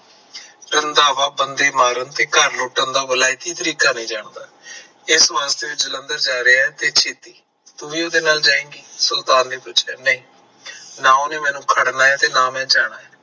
ਰੰਧਾਵਾ ਬੰਦੇ ਮਾਰਨ ਤੇ ਘਰ ਲੁੱਟਣ ਦਾ ਵਿਲਾਇਤੀ ਤਰੀਕਾ ਨਹੀਂ ਜਾਣਦਾ ਇਸ ਵਾਸਤੇ ਉਹ ਜਲੰਧਰ ਜਾ ਰਿਹਾ ਤੇ, ਖੇਤੀ ਤੂਹੀ ਉਹਦੇ ਨਾਲ ਜਾਈਗੀ, ਸੁਲਤਾਨ ਨੇ ਪੁੱਛਿਆ, ਨਹੀਂ ਨਾ ਉਹਨੇ ਮੈਨੂੰ ਫੜਨਾ ਤੇ ਨਾ ਮੈਂ ਜਾਣਾ ਆ